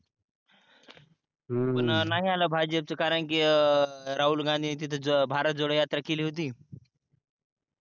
पण नाही आला भाजपचं कारण कि अं राहुल गांधीन तिथं भारत जोडो यात्रा केली होती